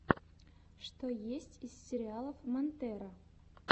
что есть из сериалов монтера